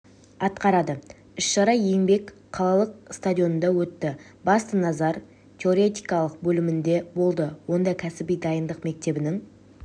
атқарады іс-шара еңбек қалалық стадионында өтті басты назар теоретикалық бөлігінде болды онда кәсіби дайындық мектебінің